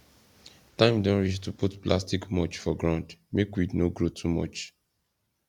time don reach to put plastic mulch for ground make weed no grow too much